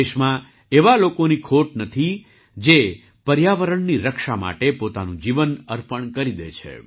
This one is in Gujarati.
દેશમાં એવા લોકોની ખોટ નથી જે પર્યાવરણની રક્ષા માટે પોતાનું જીવન અર્પણ કરી દે છે